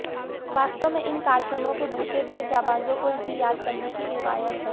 वास्तव में इन कार्यक्रमों के बूते वीर जांबाजों को भी याद करने की रिवायत है